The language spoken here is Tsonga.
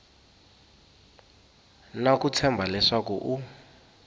na ku tshemba leswaku u